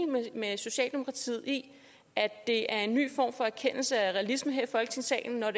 med socialdemokratiet i at det er en ny form for erkendelse og realisme her i folketingssalen når